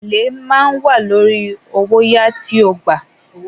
“Èlé” ma a wà lórí owóyàá tí o gbà.